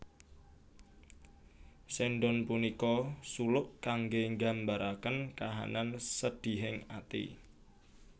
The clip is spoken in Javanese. Sendhon punika suluk kangge nggambaraken kahanan sedihing ati